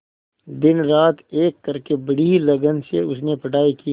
दिनरात एक करके बड़ी ही लगन से उसने पढ़ाई की